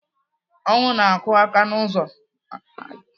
Ọnwụ na-akụ aka n'ụzọ m